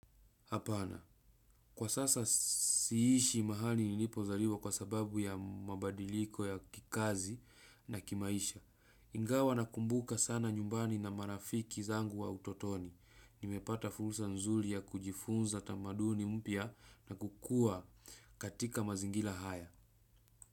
Hapana, kwa sasa siishi mahali nilipozaliwa kwa sababu ya mabadiliko ya kikazi na kimaisha. Ingawa na kumbuka sana nyumbani na marafiki zangu wa utotoni. Nimepata fursa nzuri ya kujifunza tamaduni mpya na kukuwa katika mazingira haya.